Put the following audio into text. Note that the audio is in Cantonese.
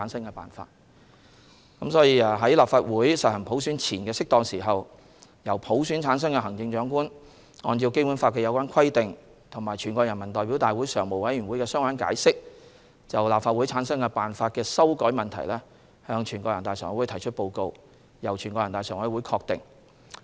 因此，在立法會實行普選前的適當時候，由普選產生的行政長官按照《基本法》的有關規定和全國人大常委會的相關解釋，就立法會產生辦法的修改問題向全國人大常委會提出報告，由全國人大常委會確定。